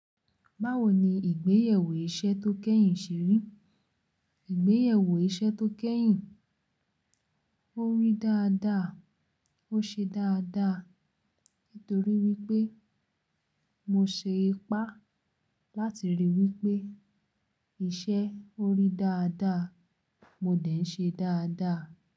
Báwo ni ìgbéyèwò iṣẹ́ tó kẹ́yìn ṣe rí? Ìgbéyèwò iṣẹ́ tó kẹ́yìn, ó rí dáadáa, ó ṣe dáadáa. Nítorí wípé mo ṣe ipá láti rí wípé iṣẹ́ ó rí dáadáa, mo de ń ṣe dáadáa.